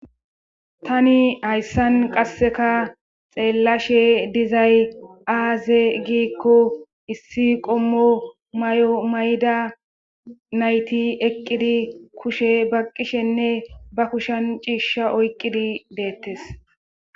tani hayssan qasseka xeellashe dizay aaze giikko issi qommo may7o mayda nayti eqqidi kushe baqqishenne ba kushan ciishsha oyqqidi deettes